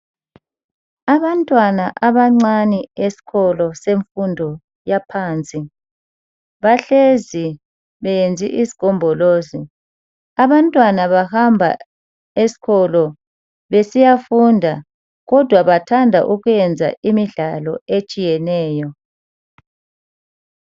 Abantwana abancane esikolo semfundo yaphansi bahlezi benze isigombolozi. Abantwana bahamba esikolo besiya funda kodwa bathanda ukwenza imidlalo etshiyeneyo